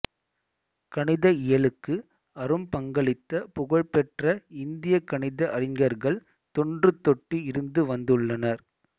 கணித இயலுக்கு அரும் பங்களித்த புகழ் பெற்ற இந்திய கணித அறிஞர்கள் தொன்றுதொட்டு இருந்து வந்துள்ளனர்